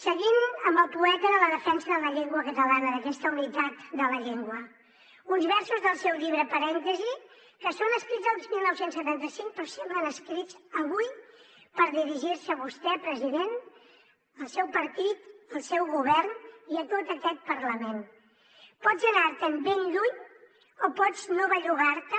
seguint amb el poeta de la defensa de la llengua catalana d’aquesta unitat de la llengua uns versos del seu llibre parèntesi que són escrits el dinou setanta cinc però semblen escrits avui per dirigir se a vostè president al seu partit al seu govern i a tot aquest parlament pots anar te’n ben lluny o pots no bellugar te